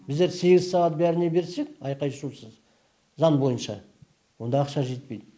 біздер сегіз сағат бәріне берсек айқай шусыз заң бойынша онда ақша жетпейді